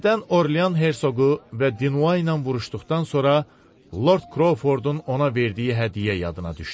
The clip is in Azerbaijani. Birdən Orlyan hersoqu və Din ilə vuruşduqdan sonra Lord Krofordun ona verdiyi hədiyyə yadına düşdü.